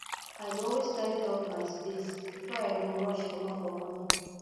i dey always tidy up my space before i go rush comot for morning